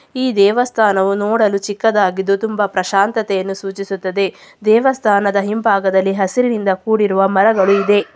ಈ ದೇವಸ್ಥಾನವು ನೋಡಲು ಚಿಕ್ಕದಾಗಿದ್ದು ತುಂಬ ಪ್ರಶಾಂತತೆಯನ್ನು ಸೂಚಿಸುತ್ತದೆ ದೇವಸ್ಥಾನದ ಹಿಂಭಾಗದಲ್ಲಿ ಹಸಿರಿನಿಂದ ಕೂಡಿರುವ ಮರಗಳು ಇದೆ.